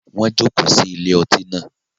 Wọn joko sí ilé ọtí náà